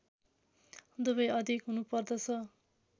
दुवै अधिक हुनु पर्दछ